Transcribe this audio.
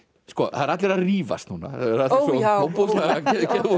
það eru allir að rífast núna ó já